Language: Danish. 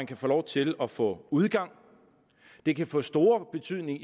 kan få lov til at få udgang det kan få stor betydning